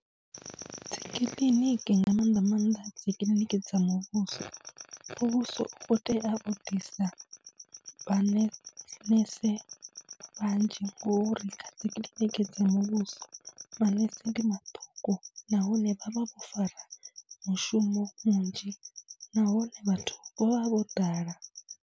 Dzi kiḽiniki nga maanḓa maanḓa dzi kiḽiniki dza muvhuso, muvhuso u khou tea u ḓisa vhane nese vhanzhi ngori dzi kiḽiniki dza muvhuso manese ndi maṱuku, nahone vha vha vho fara mushumo munzhi nahone vhathu vha vha vho ḓala.